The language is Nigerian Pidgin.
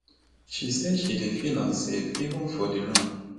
she say she dey feel unsafe even for di room